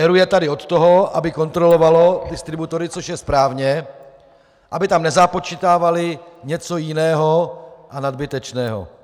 ERÚ je tady od toho, aby kontroloval distributory, což je právě aby tam nezapočítávali něco jiného a nadbytečného.